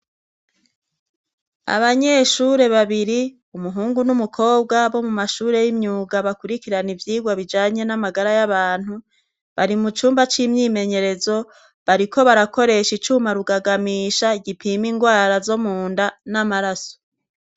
Abanyeshure babiri umuhungu n'umukobwa bo mu mashure y'imyuga bakurikirana ivyirwa bijanye n'amagara y'abantu bari mu cumba c'imyimenyerezo bariko barakoresha icuma rugagamisha gipima ingwara zo mu nda n'amaraso.